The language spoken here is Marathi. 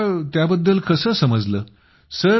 तुम्हाला त्याबद्दल कसे समजले